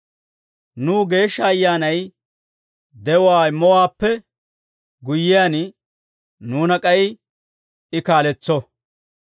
Nuw Geeshsha Ayyaanay de'uwaa immowaappe guyyiyaan, nuuna k'ay I kaaletso.